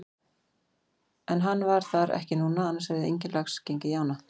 En hann var þar ekki núna annars hefði enginn lax gengið í ána.